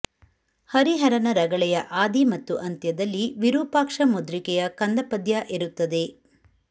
ಹರಿಹರನ ರಗಳೆಯ ಆದಿ ಮತ್ತು ಅಂತ್ಯದಲ್ಲಿ ವಿರೂಪಾಕ್ಷ ಮುದ್ರಿಕೆಯ ಕಂದಪದ್ಯ ಇರುತ್ತದೆ